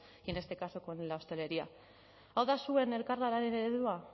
y en este caso con la hostelería hau da zuen elkarlanaren eredua